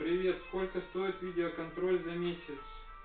привет сколько стоит видеоконтроль за месяц